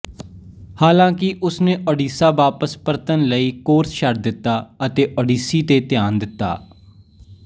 ਹਾਲਾਂਕਿ ਉਸ ਨੇ ਓਡੀਸ਼ਾ ਵਾਪਸ ਪਰਤਣ ਲਈ ਕੋਰਸ ਛੱਡ ਦਿੱਤਾ ਅਤੇ ਓਡੀਸ਼ੀ ਤੇ ਧਿਆਨ ਦਿੱਤਾ